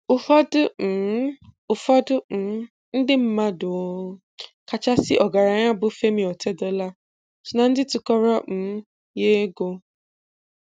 Ụfọdụ um Ụfọdụ um ndị mmadụ ọ um kachasị ọgaranya bụ Femi Otedola so na ndị tụkọrọ um ya ego